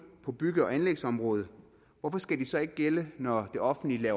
på bygge og anlægsområdet hvorfor skal de så ikke gælde når det offentlige